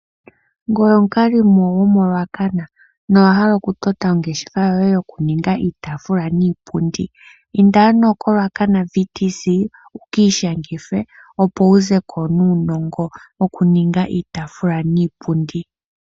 Ngoye omukalimo gomo Ruacana, no wa hala oku tota, ongeshefa yoye, yo ku ninga iitafula niipundi. Inda ano kolwakana (VTC) wu ki ishangithe, opo wu zeko nuunongo wokuninga iitafula niipundi.